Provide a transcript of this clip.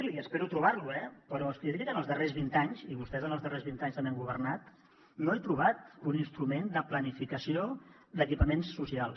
i espero trobar lo eh però és que jo diria que en els darrers vint anys i vostès en els darrers vint anys també han governat no he trobat un instrument de planificació d’equipaments socials